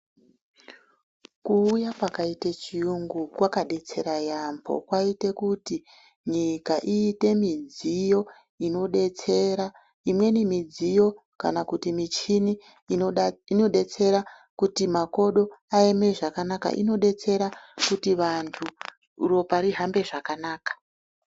Kuuya kwakaite chiyungu kwakabetsera yaambo kwaite kuti nyika iite midziyo inobetsera. Imweni midziyo kana kuti michini inobetsera kuti makodo ayeme zvakanaka inobetsera kuti vantu ropa rihambe zvakanaka.